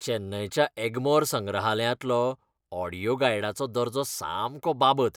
चेन्नयच्या एग्मोर संग्रहालयांतलो ऑडियो गायडाचो दर्जो सामको बाबत.